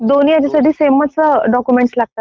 दोन्ही याच्यासाठी समे चा डॉक्युमेंट लागतात ना.